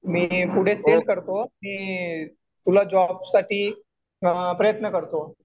मी पुढे सेंड करतो. मी तुला जॉबसाठी प्रयत्न करतो.